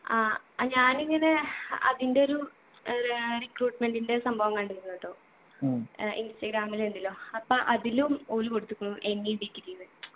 ആ അഹ് ഞാനിങ്ങനെ അതിൻ്റെ ഒരു ഏർ റെ recruitement ൻ്റെ സംഭവം കണ്ടിരുന്നുട്ടോ ഏർ ഇൻസ്റ്റാഗ്രാമിലിണ്ട് ലൊ അപ്പൊ അതിലും ഓല് കൊടുത്ത്കുണു any degree ന്ന്